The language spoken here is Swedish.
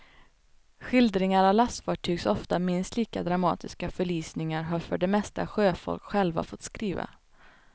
Skildringar av lastfartygs ofta minst lika dramatiska förlisningar har för det mesta sjöfolk själva fått skriva.